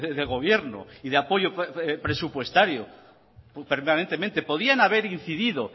de gobierno y de apoyo presupuestario permanentemente podían haber incidido